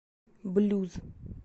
блюз